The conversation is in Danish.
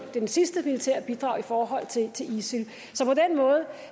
ved det sidste militære bidrag i forhold til isil